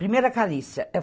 Primeira.